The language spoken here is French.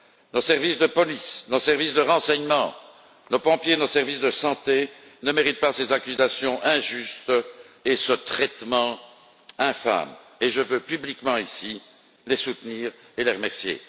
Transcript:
Nos services de police, nos services de renseignement, nos pompiers, nos services de santé ne méritent pas ces accusations injustes et ce traitement infâme, et je veux publiquement ici les soutenir et les remercier.